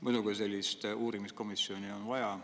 Muidugi on sellist uurimiskomisjoni vaja.